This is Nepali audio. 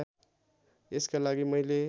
यसका लागि मैले